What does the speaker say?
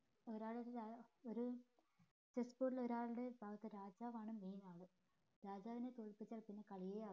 ഒരാള് ഒര് ഒര് chessboard ൽ ഒരാളുടെ രാജാവ് ആണ് main ആള് രാജാവിനെ തോൽപ്പിച്ച് കഴിഞ്ഞാൽ പിന്നെ കളിയെ